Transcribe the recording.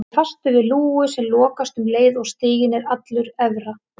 Hann er fastur við lúgu sem lokast um leið og stiginn er allur efra.